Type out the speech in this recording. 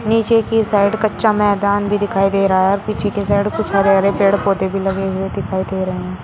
नीचे की साइड कच्चा मैदान भी दिखाई दे रहा है और पीछे के साइड कुछ हरे-हरे पेड़-पौधे भी लगे हुए दिखाई दे रहे हैं।